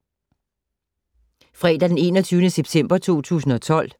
Fredag d. 21. september 2012